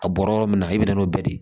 A bɔra yɔrɔ min na i bɛ na n'o bɛɛ de ye